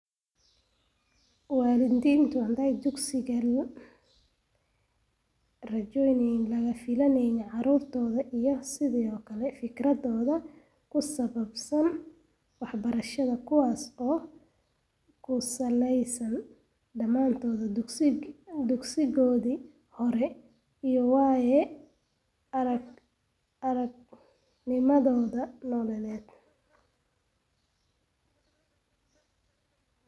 Waalidiintu waxay dugsiga la yimaadaan rajooyin laga filayo carruurtooda, iyo sidoo kale fikrado ku saabsan waxbarashada kuwaas oo ku salaysan dhammaan dugsigoodii hore iyo waaya-aragnimadooda nololeed.